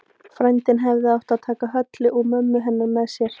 Frændinn hefði átt að taka Höllu og mömmu hennar með sér.